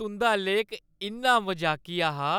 तुंʼदा लेख इन्ना मजाकिया हा